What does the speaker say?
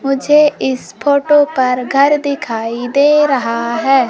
मुझे इस फोटो पर घर दिखाई दे रहा है।